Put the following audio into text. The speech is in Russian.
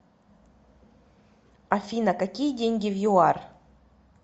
афина какие деньги в юар